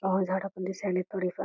झाड पण दिसालेत थोडे फार--